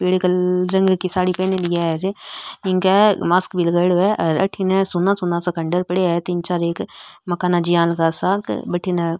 पीली कलर की साडी पहनयोडी है इनके मास्क भी लगाईडो है हेर अठीने सुना सुना सा खण्डर पड़या है तीन चार एक मकाना ज्यान का सा क बठीने --